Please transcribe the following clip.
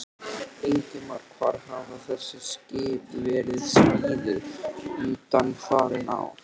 Ingimar: Hvar hafa þessi skip verið smíðuð undanfarin ár?